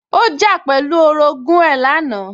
Ó jà pẹ̀lú orogún ẹ̀ lánàá